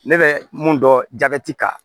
Ne bɛ mun dɔn kan